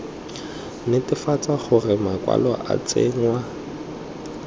netefatsa gore makwalo a tsenngwa